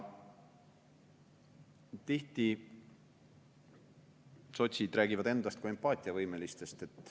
Tihti sotsid räägivad endast kui empaatiavõimelistest.